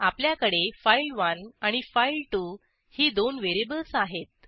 आपल्याकडे फाइल1 आणि फाइल2 ही दोन व्हेरिएबल्स आहेत